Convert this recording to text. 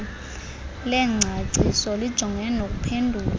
lengcaciso lijongene nokuphendula